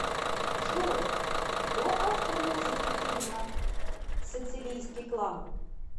джой кто автор музыки фильма сицилийский клан